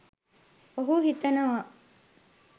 ඔහු හිතනවා